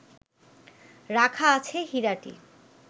রাখা আছে হীরাটি